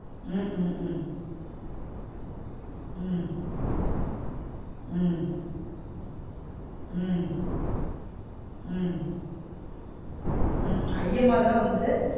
உம் உம் உம் உம் உம் உம் உம் உம் அய்யம்மா தான் வந்து